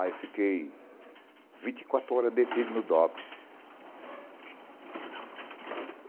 Aí eu fiquei vinte e quatro horas detido no Dops.